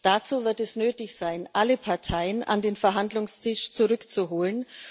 Dazu wird es nötig sein, alle Parteien an den Verhandlungstisch zurückzuholen.